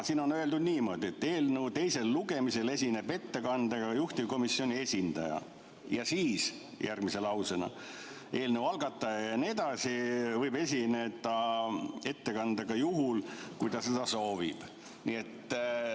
Siin on öeldud niimoodi, et eelnõu teisel lugemisel esineb ettekandega juhtivkomisjoni esindaja, ja järgmine lause ütleb, et eelnõu algataja võib esineda ettekandega juhul, kui ta seda soovib.